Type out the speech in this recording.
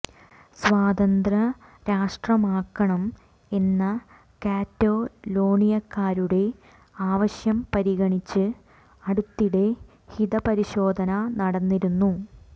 സ്വതന്ത്ര രാഷ്ട്രമാകണം എന്ന കാറ്റലോണിയക്കാരുടെ ആവശ്യം പരിഗണിച്ച് അടുത്തിടെ ഹിതപരിശോധന നടന്നിരുന്നു